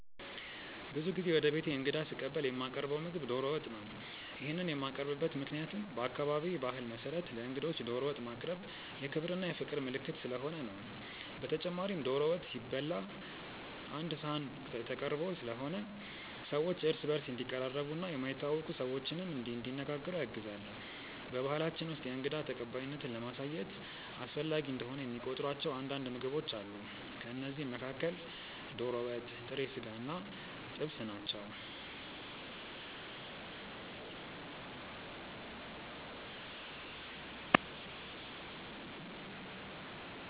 ብዙ ጊዜ ወደ ቤቴ እንግዳ ስቀበል የማቀርው ምግብ ዶሮ ወጥ ነው። ይሄንን የማቀርብበት ምክንያትም በአካባቢዬ ባህል መሰረት ለእንግዶች ዶሮ ወጥ ማቅረብ የክብር እና የፍቅር ምልክት ስለሆነ ነው። በተጨማሪም ዶሮ ወጥ ሲበላ ቀአንድ ሰሀን ተቀርቦ ስለሆነ ሰዎች እርስ በእርስ እንዲቀራረቡ እና የማይተዋወቁ ሰዎችንም እንዲነጋገሩ ያግዛል። በባሕላችን ውስጥ የእንግዳ ተቀባይነትን ለማሳየት አስፈላጊ እንደሆነ የሚቆጥሯቸው አንዳንድ ምግቦች አሉ። ከእነዚህም መካከል ዶሮ ወጥ፣ ጥሬ ስጋ እና ጥብስ ናቸው።